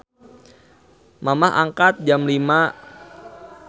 Mamah angkat jam 05.00